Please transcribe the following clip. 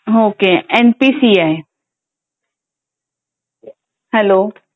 ओके.एम P C I hello.